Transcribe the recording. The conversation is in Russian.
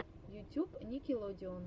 ютюб никелодеон